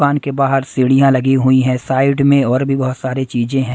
दुकान के बाहर सीढ़ियां लगी हुई हैं साइड में और भी बहुत सारे चीजें हैं।